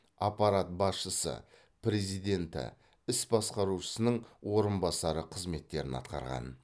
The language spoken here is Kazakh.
аппарат басшысы президенті іс басқарушысының орынбасары қызметтерін атқарған